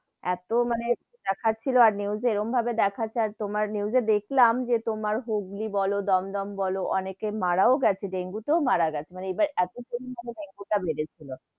এতো মানে দেখছিলো আর news এ এরকম ভাবে দেখাচ্ছে, আর তোমার news এ দেখলাম, যে তোমার হুগলী বোলো দমদম বোলো অনেকেই মারাও গেছে, ডেঙ্গু তেওঁ মারা গেছে, মানে এইবার এতো দিন মানে ডেঙ্গু তা বেড়েছিল,